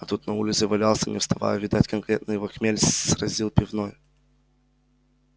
а тот на улице валялся не вставая видать конкретно его хмель сразил пивной